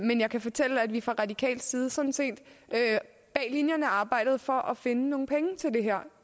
men jeg kan fortælle at vi fra radikal side sådan set bag linjerne arbejdede for at finde nogle penge til det her